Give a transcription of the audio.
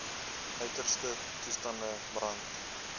uiterste toestande brand